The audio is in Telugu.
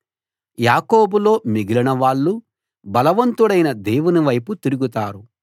యాకోబులో మిగిలిన వాళ్ళు బలవంతుడైన దేవునివైపు తిరుగుతారు